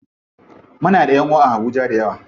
Muna da ƴanʼuwa a habuja dayawa.